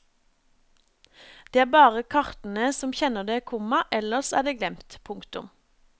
Det er bare kartene som kjenner det, komma ellers er det glemt. punktum